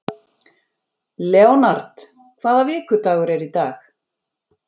Leonhard, hvaða vikudagur er í dag?